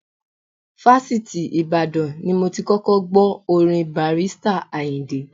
Fásitì Ìbàdàn ni mo ti kọ́kọ́ gbọ́ orin Barrister Àyìndé.